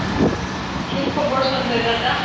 কি খবৰ সঞ্জয় দাদা ?